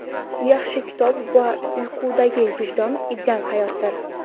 yaxshi kitob va uyqudagi vijdon ideal hayotdir.